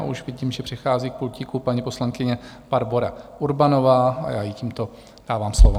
A už vidím, že přichází k pultíku paní poslankyně Barbora Urbanová, a já jí tímto dávám slovo.